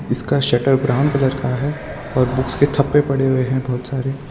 इसका shutter brown colour का है और बुक्स के ठप्पे पड़े हुए हैं बहोत सारे।